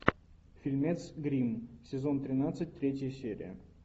фильмец гримм сезон тринадцать третья серия